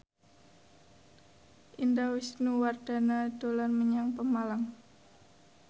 Indah Wisnuwardana dolan menyang Pemalang